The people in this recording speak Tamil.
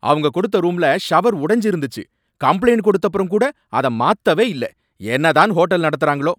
அவங்க கொடுத்த ரூம்ல ஷவர் உடைஞ்சு இருந்துச்சு, கம்ப்ளைன்ட் கொடுத்தப்பறம் கூட அத மாத்தவே இல்ல, என்னதான் ஹோட்டல் நடத்துறாங்களோ.